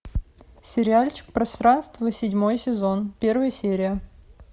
сериальчик пространство седьмой сезон первая серия